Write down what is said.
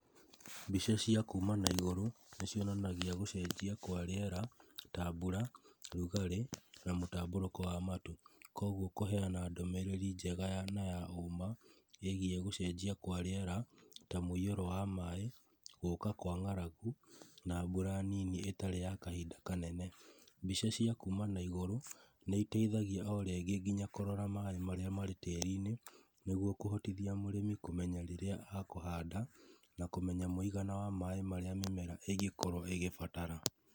Mbica cia kuma na igũrũ nĩ cionanagia gũcenjia kwa rĩera, ta mbura, ũrugarĩ, na mũtambũrũko wa matu. Koguo kũheana ndũmĩrĩri njega na ya ũma, ĩgiĩ gũcenjia kwa rĩera, ta mũiyũro wa maaĩ, gũka kwa ng'aragu na mbura nini ĩtarĩ ya kahinda kanene. Mbica cia kuma na igũrũ nĩ iteithagia o rĩngĩ nginya kũrora maaĩ marĩa marĩ tĩrinĩ nĩguo kũhotithia mũrĩmi kũmenya rĩrĩa akuhanda na kũmenya mũigana wa maaĩ marĩa mĩmera ĩngĩkorwo ĩgĩbatara.